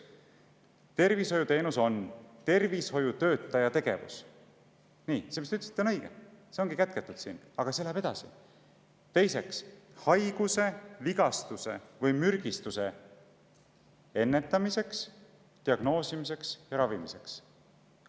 Tervishoiuteenus on tervishoiutöötaja tegevus – see, mis te ütlesite, on õige, see ongi siin kätketud, aga see läheb edasi; teiseks – haiguse, vigastuse või mürgistuse ennetamiseks, diagnoosimiseks ja ravimiseks.